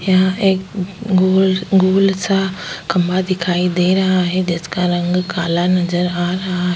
यहां एक गोल गोल सा खंभा दिखाई दे रहा है जिसका रंग काला नजर आ रहा है।